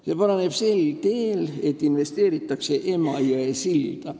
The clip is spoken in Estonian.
See paraneb sel teel, et investeeritakse Emajõe silda.